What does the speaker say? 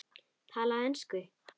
Talaðu ensku!